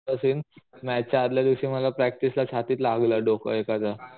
असेन मॅच च्या आदल्या दिवशी मला प्रॅक्टिस ला छातीत लागलं डोकं एकाच.